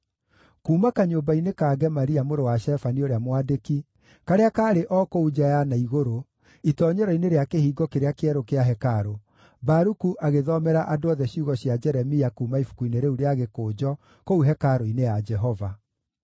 Kuuma kanyũmba-inĩ ka Gemaria mũrũ wa Shafani ũrĩa mwandĩki, karĩa kaarĩ o kũu nja ya na igũrũ, itoonyero-inĩ rĩa Kĩhingo kĩrĩa Kĩerũ kĩa hekarũ, Baruku agĩthomera andũ othe ciugo cia Jeremia kuuma ibuku-inĩ rĩu rĩa gĩkũnjo kũu hekarũ-inĩ ya Jehova.